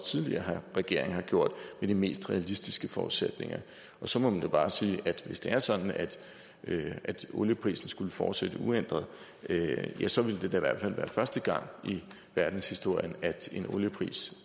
tidligere regeringer har gjort med de mest realistiske forudsætninger så må man jo bare sige at hvis det er sådan at olieprisen skulle fortsætte uændret ja så ville det da i hvert fald være første gang i verdenshistorien at en oliepris